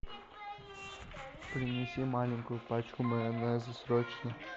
принеси маленькую пачку майонеза срочно